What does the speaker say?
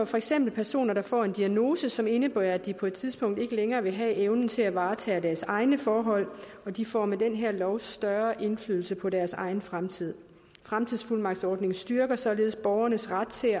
for eksempel personer der får en diagnose som indebærer at de på et tidspunkt ikke længere vil have evnen til at varetage deres egne forhold og de får med den her lov større indflydelse på deres egen fremtid fremtidsfuldmagtsordningen styrker således borgernes ret til